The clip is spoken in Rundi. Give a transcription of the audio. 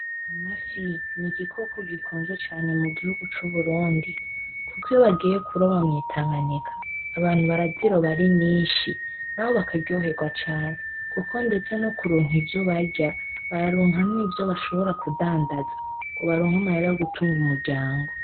Amafi ni igikoko gikunzwe cane mugihugu c,Uburundi kuko iyo bagiye kuroba mw,Itanganyika abantu baraziroba ari nyinshi nabo bakaryoherwa cane kuko ndetse no kuronka ivyo barya bararonka nivyo bashobora kudandaza ngo baronke amahera yo gutunga umuryango.